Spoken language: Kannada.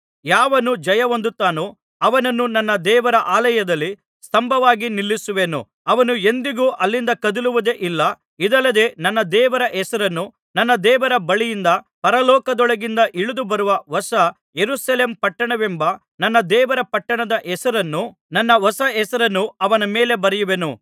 ಯಾವನು ಜಯಹೊಂದುತ್ತಾನೋ ಅವನನ್ನು ನನ್ನ ದೇವರ ಆಲಯದಲ್ಲಿ ಸ್ತಂಭವಾಗಿ ನಿಲ್ಲಿಸುವೆನು ಅವನು ಎಂದಿಗೂ ಅಲ್ಲಿಂದ ಕದಲುವುದೇ ಇಲ್ಲ ಇದಲ್ಲದೆ ನನ್ನ ದೇವರ ಹೆಸರನ್ನು ನನ್ನ ದೇವರ ಬಳಿಯಿಂದ ಪರಲೋಕದೊಳಗಿಂದ ಇಳಿದುಬರುವ ಹೊಸ ಯೆರೂಸಲೇಮ್ ಪಟ್ಟಣವೆಂಬ ನನ್ನ ದೇವರ ಪಟ್ಟಣದ ಹೆಸರನ್ನೂ ನನ್ನ ಹೊಸ ಹೆಸರನ್ನೂ ಅವನ ಮೇಲೆ ಬರೆಯುವೆನು